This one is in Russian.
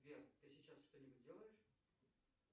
сбер ты сейчас что нибудь делаешь